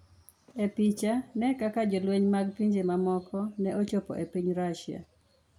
E Picha: Ne kaka jolweny mag pinje mamoko ne odonjo e piny Russia